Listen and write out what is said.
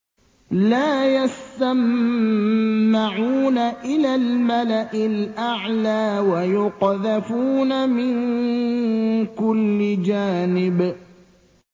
لَّا يَسَّمَّعُونَ إِلَى الْمَلَإِ الْأَعْلَىٰ وَيُقْذَفُونَ مِن كُلِّ جَانِبٍ